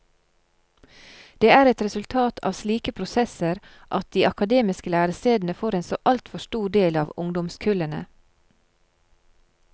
Det er et resultat av slike prosesser at de akademiske lærestedene får en så altfor stor del av ungdomskullene.